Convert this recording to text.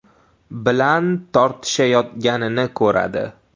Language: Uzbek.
bilan tortishayotganini ko‘radi.